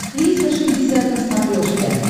триста шестьдесят на смотрешке